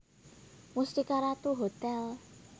Mustika Ratu Hotel